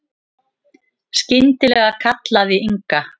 Skyndilega kallaði Inga